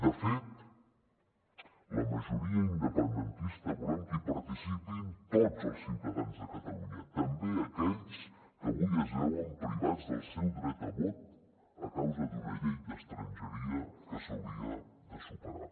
de fet la majoria independentista volem que hi participin tots els ciutadans de catalunya també aquells que avui es veuen privats del seu dret a vot a causa d’una llei d’estrangeria que s’hauria de superar